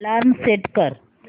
alarm set कर